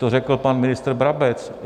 To řekl pan ministr Brabec.